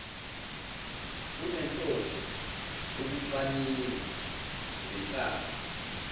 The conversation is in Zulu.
kunenhloso yokucwaninga ngenhlalo